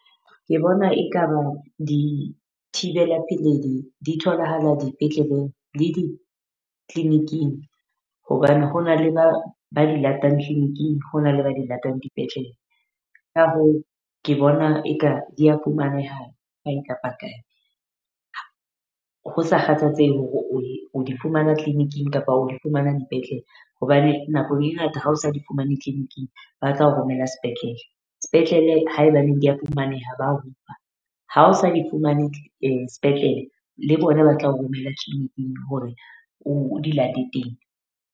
Ke bona eka ba dithibela peledi di tholahala dipetleleng le di-clinic-ing. Hobane ho na le ba ba di latang clinic-ing, ho na le ba di latang dipetlele. Ka hoo ke bona eka dia fumaneha kae kapa kae, ho sa kgathalatsehe hore oe o di fumana clinic-ing kapa o di fumana dipetlele. Hobane nako e ngata ha o sa di fumane clinic-ing ba tla o romela sepetlele. Sepetlele haebaneng dia fumaneha ba ofa, ha o sa di fumane sepetlele le bona ba tla romela clinic-ing hore o o di late teng.